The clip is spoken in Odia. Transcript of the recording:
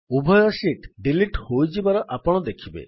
ଉଭୟ ଶୀଟ୍ ଡିଲିଟ୍ ହୋଇଯିବାର ଆପଣ ଦେଖିବେ